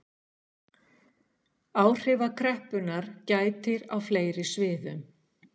Áhrifa kreppunnar gætir á fleiri sviðum